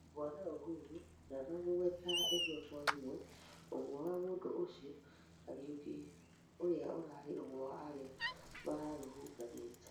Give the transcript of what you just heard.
Bwana ũhurũ ndanamũgweta ĩmwe kwa ĩmwe ũmwe wa mũmo ũcĩo Kariuki ũrĩa ũrarĩ ũmwe wa arĩa mararũrũnganĩte